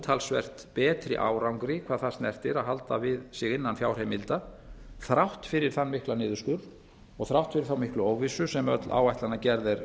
umtalsvert betri árangri hvað það snertir að halda sig innan fjárheimilda þrátt fyrir þann mikla niðurskurð og þrátt fyrir þá miklu óvissu sem öll áætlanagerð er